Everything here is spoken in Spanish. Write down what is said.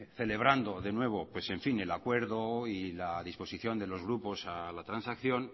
celebrando de nuevo el acuerdo y la disposición de los grupos a la transacción